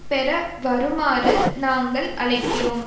பெற வருமாறு நாங்கள் அழைக்கிறோம்